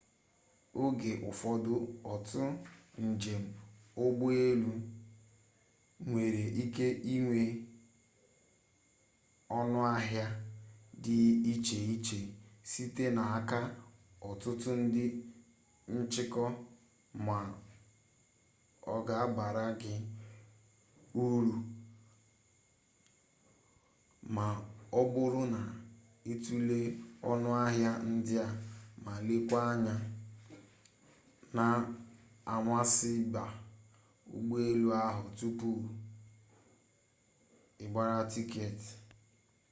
oge ụfọdụ otu njem ụgbọelu nwere ike inwe ọnụahịa dị iche iche site n'aka ọtụtụ ndị nchịkọ ma ọ ga-abara gị uru ma ọ bụrụ na itule ọnụahịa ndị a ma leekwa anya n'amasaịba ụgbọelu ahụ tupu ịgbara tiketi